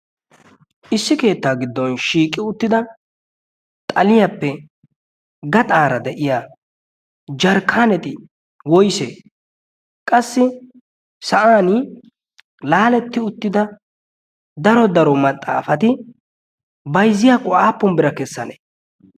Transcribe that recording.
issi keettaa giddon shiiqi uttida xaliyaappe gaxaara de'iya jarkkaaneti woise qassi sa'an laaletti uttida daro daro maxaafati bayzziyaaqu aappun bira kessanee